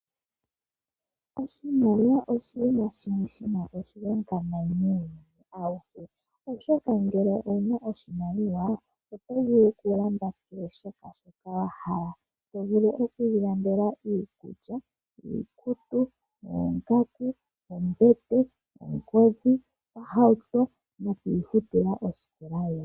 Oshimaliwa oshinima shimwe shi na oshilonga muuyuni auhe, oshoka ngele owu na oshimaliwa oto vulu okulanda kehe shoka wa hala. To vulu okuilandela iikulya, iikutu, oongaku, ombete, ongodhi, ohauto nokuifutila osikola yoye.